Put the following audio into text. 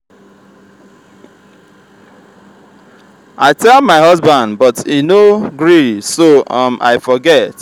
i tell my husband but he no gree so um i forget